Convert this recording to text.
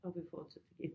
Og vi fortsætter igen